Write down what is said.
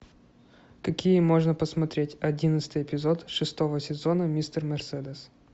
какие можно посмотреть одиннадцатый эпизод шестого сезона мистер мерседес